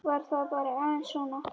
Var það bara aðeins svona?